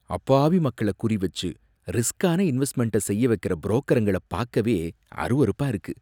அப்பாவி மக்கள குறிவச்சு ரிஸ்க்கான இன்வெஸ்ட்மெண்ட்ட செய்ய வைக்கற புரோக்கருங்கள பாக்கவே அருவருப்பா இருக்கு.